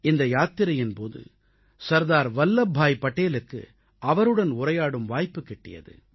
இந்த யாத்திரையின் போது சர்தார் வல்லப்பாய் படேலுக்கு அவருடன் உரையாடும் வாய்ப்புக் கிட்டியது